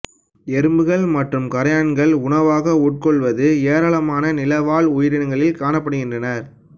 எறும்புகள் மற்றும் கறையான்களை உணவாக உட்கொள்வது ஏராளமான நில வாழ் உயிரிகளில் காணப்படுகின்றன